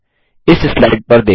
इस स्लाइड पर देखें